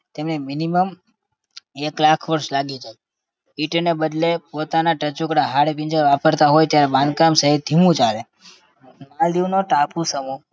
તેમને minimum એક લાખ વર્ષ લાગી જાય. ઇંટને બદલે પોતાના ટચુકડા હાડપિંજર વાપરતા હોય ત્યાં બંધકામ સહેજ ધીમું ચાલે. માલદીવનો ટાપુ સમૂહ